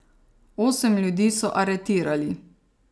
Osem ljudi so aretirali.